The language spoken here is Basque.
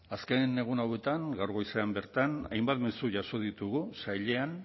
azken egun hauetan gaur goizean bertan hainbat mezu jaso ditugu sailean